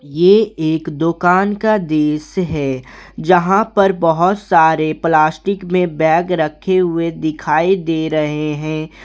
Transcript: ये एक दुकान का दृश्य है यहां पर बहुत सारे प्लास्टिक में बैग रखे हुए दिखाई दे रहे हैं।